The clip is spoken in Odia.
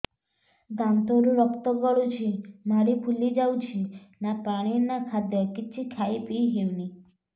ଦାନ୍ତ ରୁ ରକ୍ତ ଗଳୁଛି ମାଢି ଫୁଲି ଯାଉଛି ନା ପାଣି ନା ଖାଦ୍ୟ କିଛି ଖାଇ ପିଇ ହେଉନି